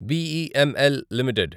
BEML limited